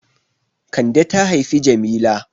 Kande ta haifi Jamila.